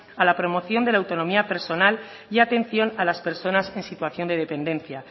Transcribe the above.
a la promoción de la autonomía personal y atención a las personas en situación de dependencia